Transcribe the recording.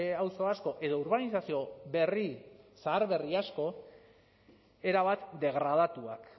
auzo asko edo urbanizazio berri zaharberri asko erabat degradatuak